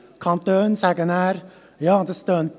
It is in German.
Die Kantone sagen nachher: